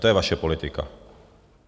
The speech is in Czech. To je vaše politika.